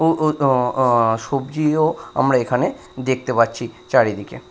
ও ও ও ও সবজি ও আমরা এখানে দেখতে পাচ্ছি চারিদিকে।